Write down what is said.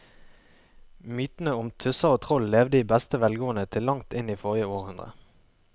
Mytene om tusser og troll levde i beste velgående til langt inn i forrige århundre.